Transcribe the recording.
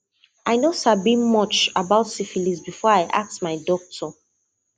i no sabi much about syphilis before i ask my doctor